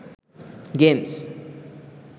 games